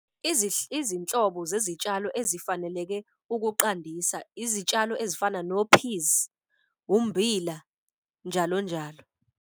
Izinhlobo zezitshalo ezifaneleke ukuqandisa, izitshalo ezifana nophizi, ummbila, njalo njalo.